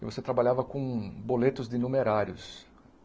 E você trabalhava com boletos de numerários.